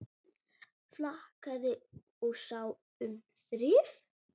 Flakaði og sá um þrif.